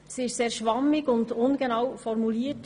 Sie ist sehr schwammig und ungenau formuliert.